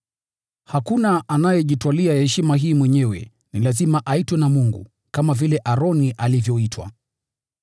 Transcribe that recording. Hakuna anayejitwalia heshima hii mwenyewe; ni lazima aitwe na Mungu, kama vile Aroni alivyoitwa.